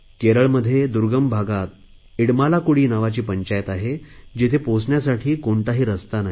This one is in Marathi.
केरळमध्ये दुर्गम भागात इडमालाकुडी नावाची पंचायत आहे जिथे पोहोचण्यासाठी कोणताही रस्ता नाही